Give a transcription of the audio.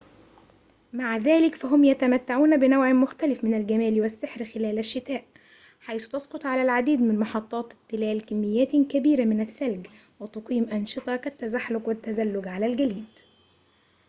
مع ذلك فهم يتمتعون بنوع مختلف من الجمال والسحر خلال الشتاء حيث تسقط على العديد من محطات التلال كميات كبيرة من الثلج وتقيم أنشطة كالتزحلق والتزلج على الجليد